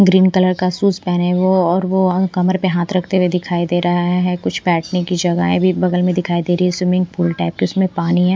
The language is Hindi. ग्रीन कलर का शूज पहने वो और वो कमर पे हाथ रखते हुए दिखाई दे रहा है कुछ बैठने की जगह है भी बगल में दिखाई दे रही है स्विमिंग पूल टाइप की उसमें पानी है।